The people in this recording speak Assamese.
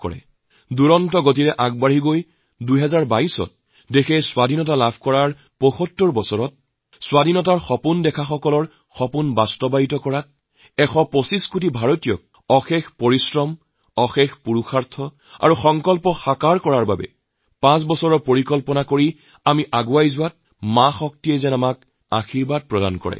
দেশে দ্ৰুত গতিত উন্নতি কৰক আৰু ২০২২ত ভাৰতৰ স্বাধীনতাৰ ৭৫ বছৰস্বাধীনতা সংগ্ৰামীসকলৰ সপোন পুৰণৰ প্ৰয়াস ১২৫ কোটি ভাৰতীয়ৰ সংকল্প কঠোৰ পৰিশ্ৰম অসীম পুৰুষাৰ্থ আৰু সংকল্পক বাস্তৱ ৰূপ দিয়াৰ লক্ষ্যৰে পাঁচ বছৰৰ ৰোড মেপ প্ৰস্তুত কৰি আমি যাত্ৰা আৰম্ভ কৰিছো শক্তি দেৱীয়ে আমাক আশীৰ্বাদ দিয়ক